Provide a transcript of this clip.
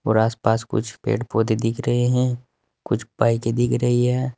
और आस पास कुछ पेड़ पौधे दिख रहे हैं कुछ बाईकें दिख रही है।